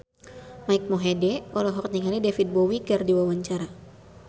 Mike Mohede olohok ningali David Bowie keur diwawancara